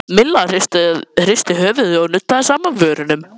Milla hristi höfuðið og nuddaði saman vörunum.